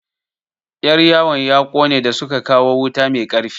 Yar yawon ya ƙone da suka kawo wuta mai ƙarfi.